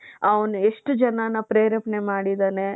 ಅವನು ಎಷ್ಟು ಜನಾನ್ನ ಪ್ರೇರೇಪಣೆ ಮಾಡಿದ್ದಾನೆ.